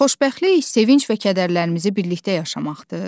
Xoşbəxtlik, sevinc və kədərlərimizi birlikdə yaşamaqdır?